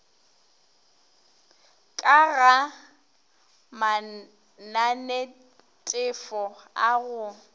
ka ga mananetefo a go